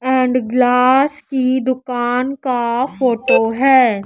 And glass की दुकान का फोटो है।